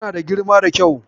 Tana da girma da kyau.